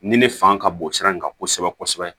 Nin ne fanga ka bon sira in kan kosɛbɛ kosɛbɛ